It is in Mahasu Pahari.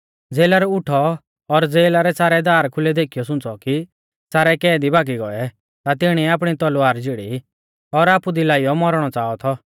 ज़ेलर उठौ और ज़ेला रै सारै दार खुलै देखीयौ सुंच़ौ कि सारै कैदी भागी गौऐ ता तिणीऐ आपणी तलवार झ़ीड़ी और आपु दी लाइयौ मौरणौ च़ाहा थौ